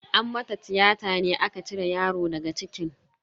An mata tiyata ne aka cire yaro daga cikin.